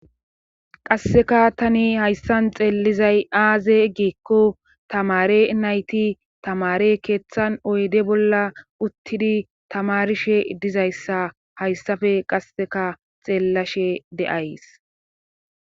Qasseka tani hayssan xeelizay aaze eggikko tamare nayti tamare keeththan oyde bolla uttidi tamarishe dizayssa hayssafe qasseka xeellashe de'ays.